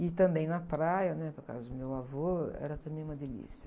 E também na praia, né? Por causa do meu avô, era também uma delícia.